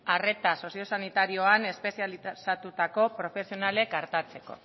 arreta sozio sanitarioan espezializatutako profesionalek artatzeko